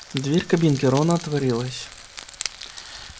дверь кабинки рона отворилась